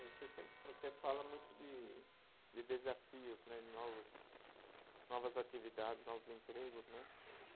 Você sem, você fala muito de de desafios né, novos, novas atividades, novos empregos, né?